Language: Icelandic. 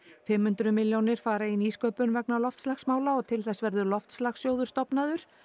fimm hundruð milljónir fara í nýsköpun vegna loftslagsmála og til þess verður loftslagssjóður stofnaður